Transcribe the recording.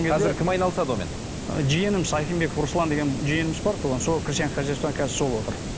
қазір кім айналысады онымен ы жиеніміз ахимбеков руслан деген жиеніміз бар туған сол крестьянское хозяйство қазір сол отыр